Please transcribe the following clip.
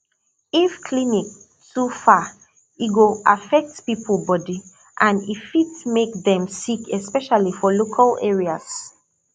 if clinic too far e go affect people body and e fit make dem sick especially for local areas